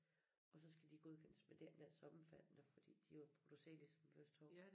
Og så skal de godkendes men det er ikke nær så omfattende fordi de er jo produceret ligesom de første 2